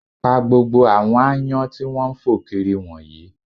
Pa gbogbo àwọn aáyán tí wọ́n ń fò kiri wọ̀nyìí